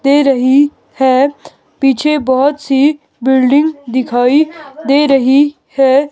दे रही है पीछे बहुत सी बिल्डिंग दिखाई दे रही है.